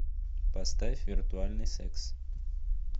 поставь виртуальный секс